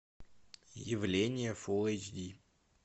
явление фулл эйч ди